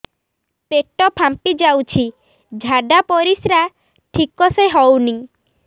ପେଟ ଫାମ୍ପି ଯାଉଛି ଝାଡ଼ା ପରିସ୍ରା ଠିକ ସେ ହଉନି